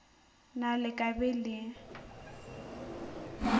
na le ka be le